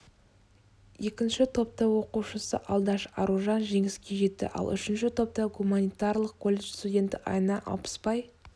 екінші топта оқушысы алдаш аружан жеңіске жетті ал үшінші топта гуманитарлық колледж студенті айна алпыспай